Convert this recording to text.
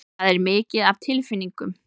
Það er mikið af tilfinningum.